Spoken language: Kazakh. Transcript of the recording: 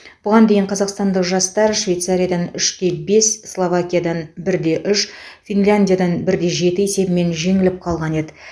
бұған дейін қазақстандық жастар швейцариядан үште бес словакиядан бірде үш финляндиядан бірде жеті есебімен жеңіліп қалған еді